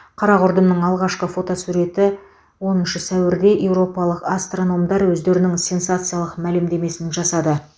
қара құрдымның алғашқы фотосуреті оныншы сәуірде еуропалық астрономдар өздерінің сенсациялық мәлімдемесін жасады